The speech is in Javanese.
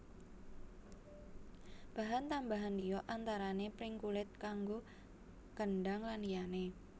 Bahan tambahan liya antarane pring kulit kanggo kendhang lan liyane